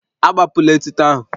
Agbapụla etuto ahụ